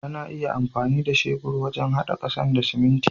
Ana iya amfani da shebur wajen hada kasa da siminti.